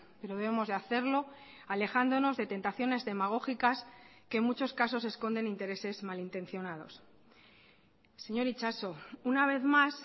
pero debemos de hacerlo alejándonos de tentaciones demagógicas que en muchos casos esconden intereses malintencionados señor itxaso una vez más